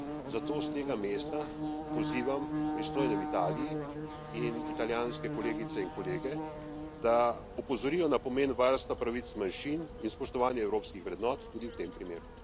Zato s tega mesta pozivam pristojne v Italiji in italijanske kolegice in kolege, da opozorijo na pomen varstva pravic manjšin in spoštovanja evropskih vrednot tudi v tem primeru.